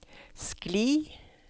skli